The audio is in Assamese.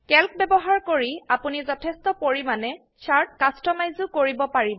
ক্যালক ব্যবহাৰ কৰি আপোনি যথেষ্ট পৰিমাণে চাৰ্ট কাস্টমাইজও কৰিব পাৰিব